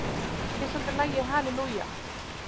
Hver samdi lagið Hallelujah?